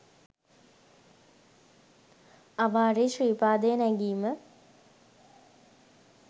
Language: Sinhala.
අවාරේ ශ්‍රීපාදය නැගීම